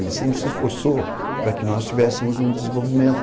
Ele sempre se esforçou para que nós tivéssemos um desenvolvimento...